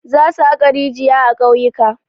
Zasu haƙa rijiya a ƙauyuka.